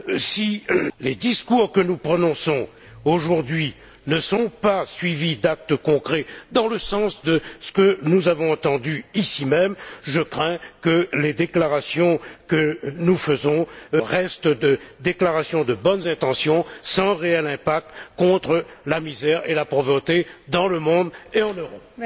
Si les discours que nous prononçons aujourd'hui ne sont pas suivis d'actes concrets dans le sens de ce que nous avons entendu ici même, je crains que les déclarations que nous faisons restent des déclarations de bonnes intentions, sans réel impact contre la misère et la pauvreté dans le monde et en Europe.